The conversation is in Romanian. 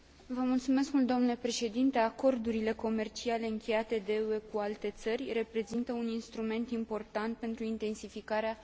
Acordurile comerciale încheiate de UE cu alte țări reprezintă un instrument important pentru intensificarea relațiilor economice.